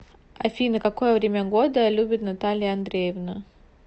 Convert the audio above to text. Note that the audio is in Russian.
афина какое время года любит наталья андреевна